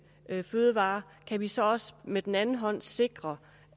fødevarer kan vi så også med den anden hånd sikre